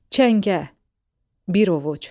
Çəngə, bir ovuc.